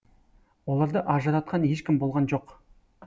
оларды ажыратқан ешкім болған жоқ